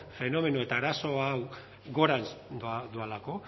fenomeno eta arazo hau gorantz doalako